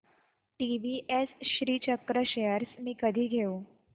TVS Shrichakra shares मी कधी घेऊ